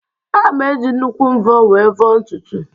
Aga m eji nnukwu mvọ wee vọọ ntutu